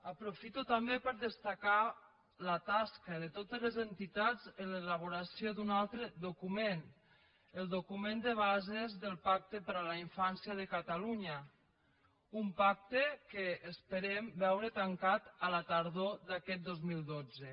aprofito també per destacar la tasca de totes les entitats en l’elaboració d’un altre document el document de bases del pacte per la infància de catalunya un pacte que esperem veure tancat a la tardor d’aquest dos mil dotze